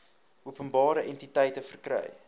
openbare entiteite verkry